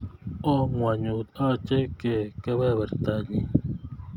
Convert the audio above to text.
Oo ngwonyut ache kei kebebertanyi